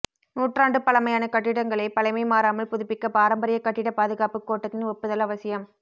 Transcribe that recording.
நூற்றாண்டு பழமையான கட்டிடங்களை பழமை மாறாமல் புதுப்பிக்க பாரம்பரிய கட்டிட பாதுகாப்பு கோட்டத்தின் ஒப்புதல் அவசியம்